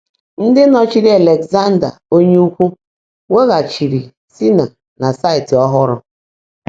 Ndị nọchiri Alexander Onye Ukwu wughachiri Smyrna na saịtị ọhụrụ.